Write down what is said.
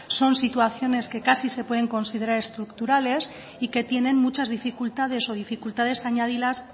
son situaciones que casi se pueden considerar estructurales y que tienen muchas dificultades o dificultades